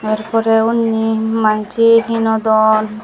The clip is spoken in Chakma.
tar porey hunni mansey hinodon.